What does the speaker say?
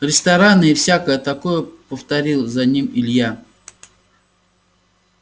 рестораны и всякое такое повторил за ним илья